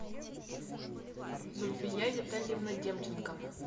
зульфия витальевна демченко